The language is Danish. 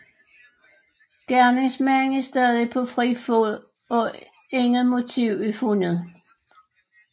Gerningsmanden er stadig på fri fod og intet motiv er fundet